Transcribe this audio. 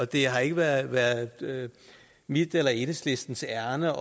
det har ikke været været mit eller enhedslistens ærinde